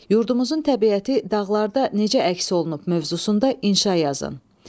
Yurdumuzun təbiəti dağlarda necə əks olunub mövzusunda inşa yazın.